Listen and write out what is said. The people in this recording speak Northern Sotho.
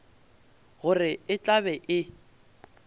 gore e tla be e